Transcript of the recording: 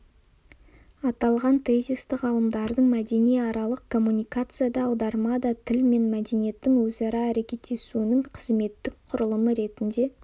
аталған тезисті ғалымдардың мәдениаралық коммуникация да аударма да тіл мен мәдениеттің өзара әрекеттесуінің қызметтік құрылымы ретінде